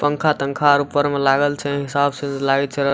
पंखा-तंखा आर ऊपर में लागल छै हिसाब से लागे छै।